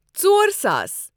ژور ساس